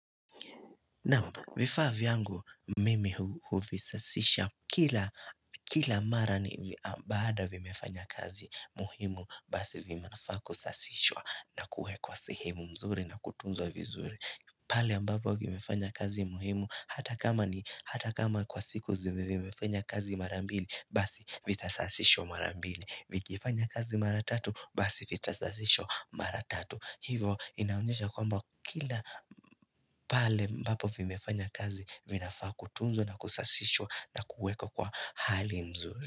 Naam vifaa vyangu mimi huvisasisha kila mara ni baada vimefanya kazi muhimu basi vinafaa kusasishwa na kuwekwa sehemu mzuri na kutunzwa vizuri pale ambapo vimefanya kazi muhimu hata kama ni hata kama kwa siku zime fanya kazi mara mbili basi vitasasishwa mara mbili, vikifanya kazi mara tatu basi vitasasishwa mara tatu. Hivo inaonyesha kwamba kila pale ambapo vimefanya kazi, vinafaa kutunzo na kusasishwa na kuwekwa kwa hali mzuri.